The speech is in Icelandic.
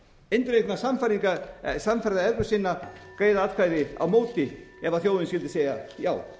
eindregna sannfærða evrópusinna greiða atkvæði á móti ef þjóðin skyldi segja já